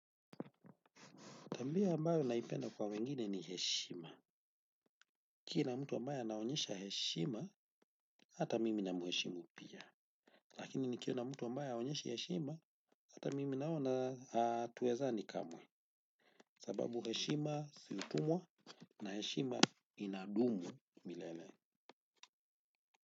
Tabia ambayo ninaipenda kwa wengine ni heshima. Kila mtu ambaye anaonyesha heshima, hata mimi ninamuheshimu pia. Lakini nikiona mtu ambaye haonyeshi heshima, hata mimi naona hatuwezani kamwe. Sababu heshima si utumwa na heshima inadumu milele.